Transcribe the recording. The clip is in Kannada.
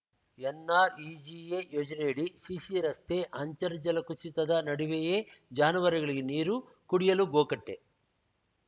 ಎನ್‌ಆರ್‌ಇಜಿಎ ಯೋಜನೆಯಡಿ ಸಿಸಿ ರಸ್ತೆ ಅಂತರ್ಜಲ ಕುಸಿತದ ನಡುವೆಯೇ ಜಾನುವಾರುಗಳಿಗೆ ನೀರು ಕುಡಿಯಲು ಗೋಕಟ್ಟೆ